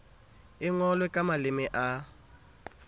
e ngolwe ka maleme a